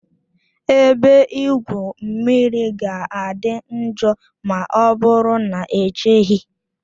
Ebe igwu mmiri ga-adị njọ ma ọ bụrụ na echeghị